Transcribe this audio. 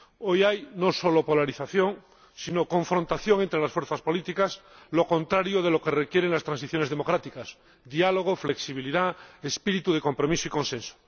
Hoy hay no solo polarización, sino confrontación entre las fuerzas políticas, lo contrario de lo que requieren las transiciones democráticas diálogo, flexibilidad, espíritu de compromiso y consenso